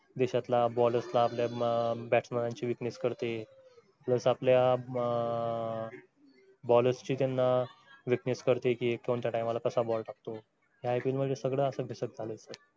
देशातल्या bowlers ना आपल्या batsman ची plus आपल्या bowlers ची त्यांना weakness कळते कि हा कोणत्या टायमाला कसा ball टाकतो ह्या ipl मध्ये